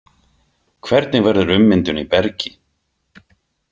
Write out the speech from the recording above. Hvernig verður ummyndun í bergi?